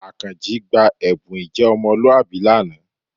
Àkànjí gba ẹ̀bùn ìjẹ́ ọmọlúwàbí lánàá